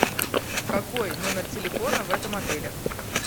какой номер телефона в этом отеле